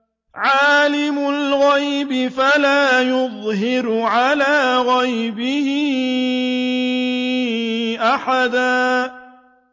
عَالِمُ الْغَيْبِ فَلَا يُظْهِرُ عَلَىٰ غَيْبِهِ أَحَدًا